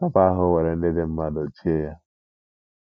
O kwa ahụ were ihe ndị dị mmá dochie yá